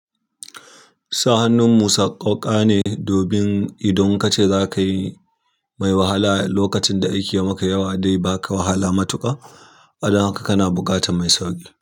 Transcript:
Sa'annan musa koka ne, domin idan kace zaka yi mai wahala, lokacin da aiki yamaka yawa dai baka wahala matuƙa. Don haka kana buƙatar mai sauƙi.